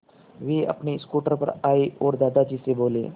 वे अपने स्कूटर पर आए और दादाजी से बोले